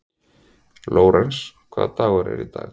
Lórens, hvaða dagur er í dag?